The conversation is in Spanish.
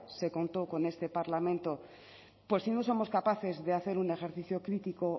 se contó con este parlamento pues si no somos capaces de hacer un ejercicio crítico